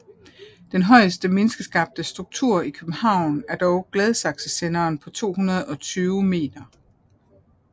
Den højeste menneskeskabte struktur i København er dog Gladsaxesenderen på 220 meter